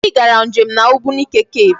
Anyị gara nje m na Ogbunike cave.